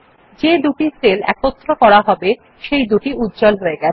যে দুটি সেল যুক্ত করা হবে সেইদুটি উজ্জ্বল হয়ে গেছে